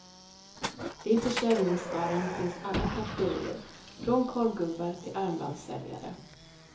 I försäljningsskaran finns alla kategorier, från korvgubbar till armbandssäljare.